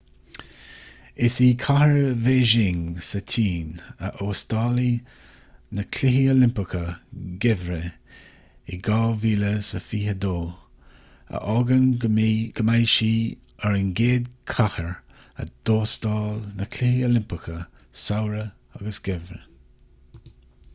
is í cathair bhéising sa tsín a óstálfaidh na cluichí oilimpeacha geimhridh in 2022 a fhágann go mbeidh sí ar an gcéad chathair a d'óstáil na cluichí oilimpeacha samhraidh agus geimhridh